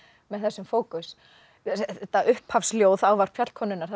með þessum fókus þetta upphafsljóð ávarp fjallkonunnar